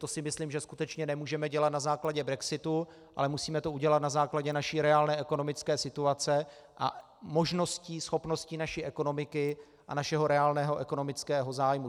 To si myslím, že skutečně nemůžeme dělat na základě brexitu, ale musíme to udělat na základě naší reálné ekonomické situace a možností, schopnosti naší ekonomiky a našeho reálného ekonomického zájmu.